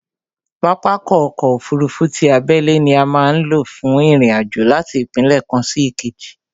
Pápákọ̀ ọ̀kọ òfurufú ti abẹ́lé ni a má ń lò fún ìrìn àjò láti ìpínlẹ̀ kan sí ìkejì